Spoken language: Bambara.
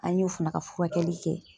An y'o fana ka furakɛli kɛ.